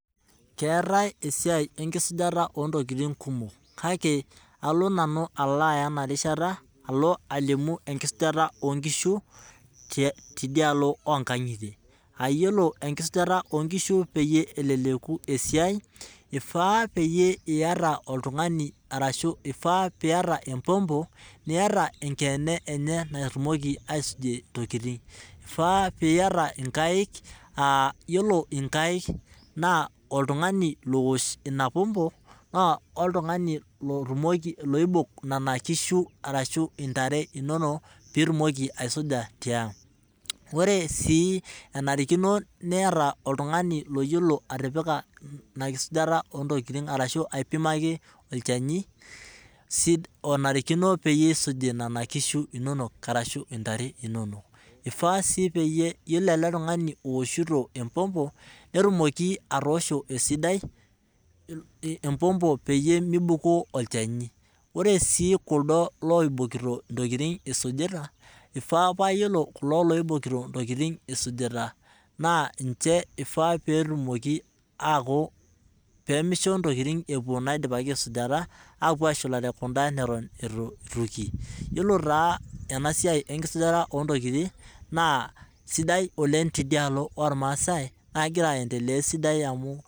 Keetae esiai enkisujaata oontokiting kumok ,kake alo nanu aya ena rishata alimu enkisujata oonkishu tidialo onkangitie. aiyiolo enkisujata oonkishu peyie elelu esiai ,eifaa peyie eyata oltungani orashu empompo niyata enkeene enye natumoki eisujie ntokiting ,eifaa peyie iyata inkaek naa yiolo nkaek na oltungani naa oltungani lowosh ina pompo oltungani loibok nena kishu ashu ntare inonok pee itumoki aisuja tiang. enare sii niyata oltungani iyiolo inakisujata oontokiting orashu aipimaki ntokiting onarikino peyie eisuji nena kishu inonok orashu intare inonok. eifaa sii na yiolo ele tungani owoshito empompo netumoki atoosho esiadi empompo peyie meibukoo olchani ,ore sii kuldo loibokitio intokiting isujita naa ifaa pee misho ntokiting epuo naidipaki aisuja apuo atumore kunda naidipaki aisuja .yiolo taa ena siai enkisujata oontokiting naa sidai oleng teidialo ormaasai naa kegira aendelea esiadi.